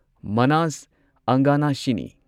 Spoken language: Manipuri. ꯃꯅꯥꯁ ꯑꯪꯒꯅꯥꯁꯤꯅꯤ